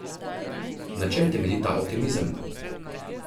Na čem temelji ta optimizem?